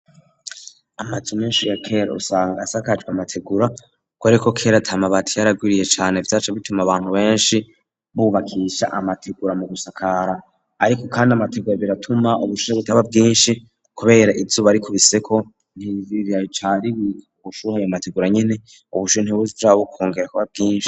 amazu menshi ya kera usanga asakajwe amategura kuberako kera atamabati yari agwiriye cane vyaca bituma abantu benshi bubakisha amategura mu gusakara, ariko kandi amategura biratuma ubushuhe butaba bwinshi kubera izuba rikubiseko ntiriba ricinjiye ubushuha amategura nyene ubushuhe ntibusubira kongera kuba bwinshi.